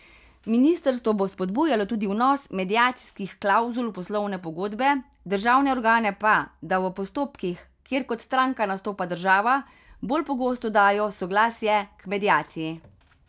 Ministrstvo bo spodbujalo tudi vnos mediacijskih klavzul v poslovne pogodbe, državne organe pa, da v postopkih, kjer kot stranka nastopa država, bolj pogosto dajo soglasje k mediaciji.